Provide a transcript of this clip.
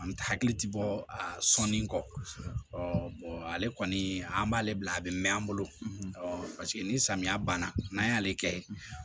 An hakili ti bɔ a sɔnni kɔ ale kɔni an b'ale bila a be mɛn an bolo paseke ni samiya banna n'an y'ale kɛ